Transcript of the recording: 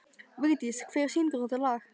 Vigdís, hver syngur þetta lag?